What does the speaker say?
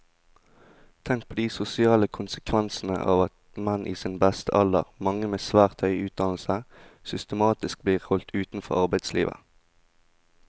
Tenk på de sosiale konsekvensene av at menn i sin beste alder, mange med svært høy utdannelse, systematisk blir holdt utenfor arbeidslivet.